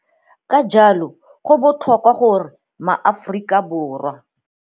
Ka jalo, go botlhokwa gore maAforika.